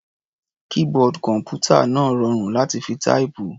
Keyboard kọ̀m̀pútà náà rọrùn láti fi táìpù.